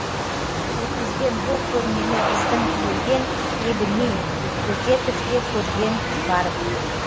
өткізген бұл көрмені біздің елден ебіней бөкетов те көрген барып